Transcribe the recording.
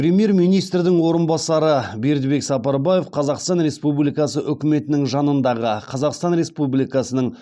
премьер министрдің орынбасары бердібек сапарбаев қазақстан республикасы үкіметінің жанындағы қазақстан республикасының